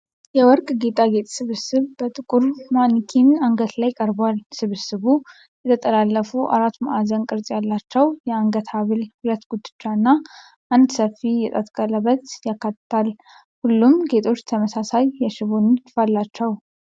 የወርቅ ጌጣጌጥ ስብስብ በጥቁር ማኒኪን አንገት ላይ ቀርቧል። ስብስቡ የተጠላለፉ አራት ማዕዘን ቅርፅ ያላቸው የአንገት ሀብል፣ ሁለት ጉትቻ እና አንድ ሰፊ የጣት ቀለበት ያካትታል። ሁሉም ጌጣጌጦች ተመሳሳይ የሽቦ ንድፍ አላቸው።